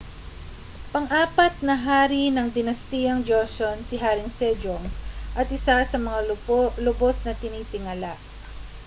pang-apat na hari ng dinastiyang joseon si haring sejong at isa sa mga lubos na tinitingala